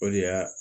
O de y'a